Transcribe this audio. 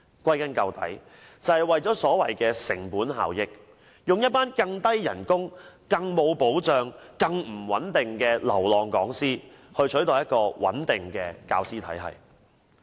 歸根究底，就是為了所謂的成本效益，以工資更低、更沒保障、更不穩定的流浪講師取代穩定的教師體系。